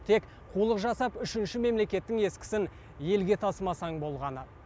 тек қулық жасап үшінші мемлекеттің ескісін елге тасымасаң болғаны